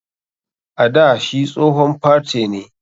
A dà shi tsohon partè ne.